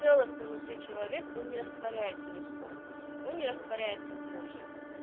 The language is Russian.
целостный внутри человек он не растворяется ни в ком он не растворяется в муже